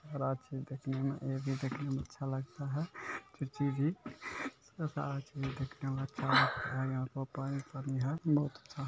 बड़ा छै देखने में ये भी देखने में अच्छा लगता है बहुत अच्छा ---